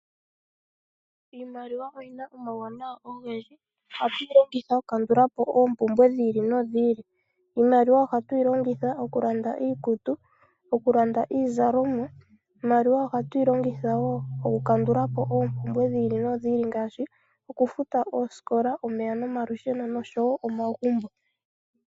Iimaliwa oyi na omauwanawa ogendji, hatu yi longitha oku kandulapo ompumbwe dhi ili nodhi ili. Iimaliwa oha tu yi longitha oku landa iikutu, iimaliwa ohatu yi longitha wo oku kandulapo ompumbwe dhi ili nodhi ili ngashi oku futa ooskola, omeya nomalusheno oshowo omagumbo.